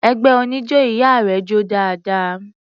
Ẹgbẹ́ oníjó ìyá rẹ jó dáadáa.